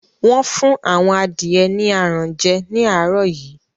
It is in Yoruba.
Wọ́n fún àwọn adìẹ ni aràn jẹ ní àárọ̀ yìí